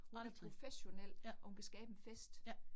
Hun er professionel og hun kan skabe en fest